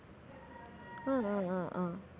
ஹம் ஹம் ஹம்